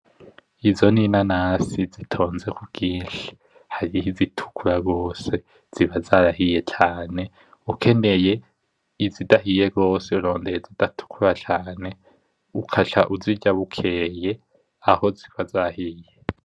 Izo n’inanasi zitonze kubwinshi hariho izitukura gose ziba zarahiye cane ukeneye izidahiye gose urondera izitatukura cane ukaca uzirya bukeye aho ziba zahiye.